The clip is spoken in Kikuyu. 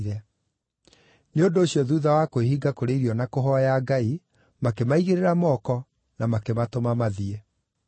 Nĩ ũndũ ũcio thuutha wa kwĩhinga kũrĩa irio na kũhooya Ngai, makĩmaigĩrĩra moko, na makĩmatũma mathiĩ.